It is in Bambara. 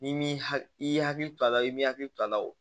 N'i m'i hakili i y'i hakili to a la i m'i hakili to a la o